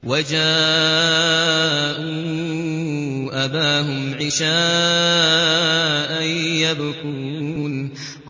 وَجَاءُوا أَبَاهُمْ عِشَاءً يَبْكُونَ